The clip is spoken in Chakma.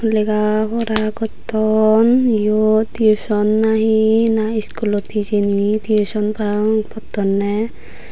lega pora gotton yot tiuson nahi na iskulot hijeni tiuson parapng pottonney.